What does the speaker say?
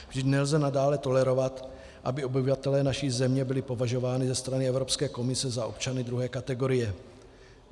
Vždyť nelze nadále tolerovat, aby obyvatelé naší země byli považováni ze strany Evropské komise za občany druhé kategorie.